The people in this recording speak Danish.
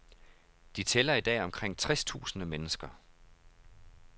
De tæller i dag omkring tres tusinde mennesker.